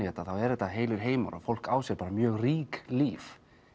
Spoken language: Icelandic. þetta eru heilir heimar og fólk á sér mjög rík líf